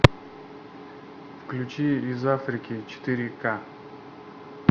включи из африки четыре ка